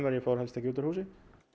ég fór helst ekki út úr húsi